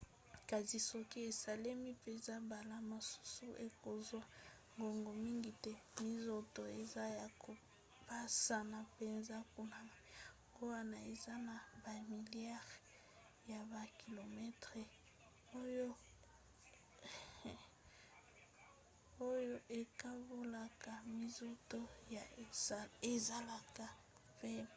kasi soki esalemi mpenza mbala mosusu ekozwa ngonga mingi te. minzoto eza ya kopanzana mpenza kuna yango wana eza na bamiliare ya bakilometele oyo ekabolaka minzoto oyo ezalaka pembeni